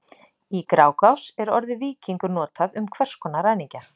Í Grágás er orðið víkingur notað um hvers konar ræningja.